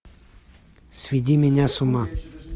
сведи меня с ума